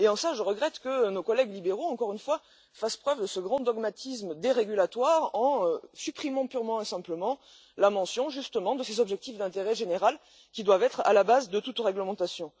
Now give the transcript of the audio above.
En cela, je regrette que nos collègues libéraux, encore une fois, fassent preuve de ce grand dogmatisme dérégulatoire en supprimant purement et simplement la mention de ces objectifs d'intérêt général, qui doivent être à la base de toute réglementation.